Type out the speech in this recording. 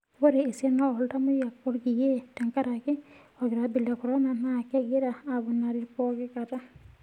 Ore esiana ooltamoyiak olkiye tenkaraki olkiribo le korona naa kegira aaponari pooki kata.